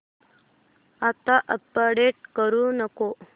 आता अपडेट करू नको